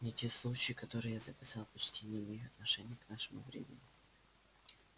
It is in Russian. но те случаи которые я записал почти не имеют отношения к нашему времени